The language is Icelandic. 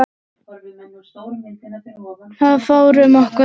Það fór um okkur.